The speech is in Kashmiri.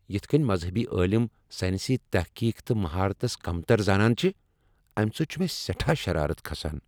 یتھ کٔنۍ مزہبی عٲلِم سائنسی تحقیق تہٕ مہارتس كمتر زانان چھِ ، امہ سۭتۍ چُھ مےٚ سیٚٹھاہ شرارت کھسان۔